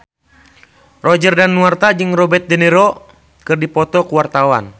Roger Danuarta jeung Robert de Niro keur dipoto ku wartawan